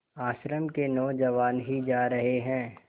आश्रम के नौजवान ही जा रहे हैं